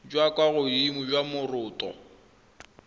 jwa kwa godimo jwa moroto